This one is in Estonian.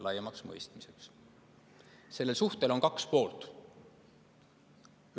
Nendel suhetel on kaks poolt.